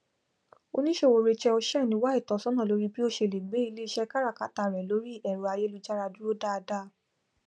oníṣòwò rachel chen wá ìtọsọnà lórí bí ó ṣe lè gbé iléiṣẹ káràkátà rẹ lórí ẹrọ ayélujára dúró dâdá